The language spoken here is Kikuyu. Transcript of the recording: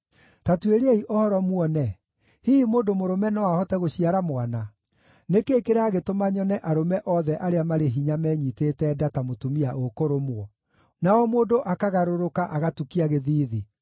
Ta tuĩriai ũhoro, muone: Hihi mũndũ mũrũme no ahote gũciara mwana? Nĩ kĩĩ kĩragĩtũma nyone arũme othe arĩa marĩ hinya menyiitĩte nda ta mũtumia ũkũrũmwo, na o mũndũ akagarũrũka agatukia gĩthiithi?